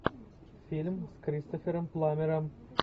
фильм с кристофером пламмером